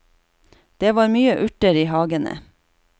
Det var mye urter i hagene.